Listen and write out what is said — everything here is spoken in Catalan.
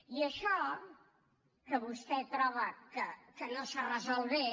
i això que vostè troba que no s’ha resolt bé